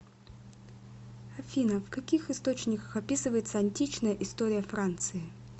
афина в каких источниках описывается античная история франции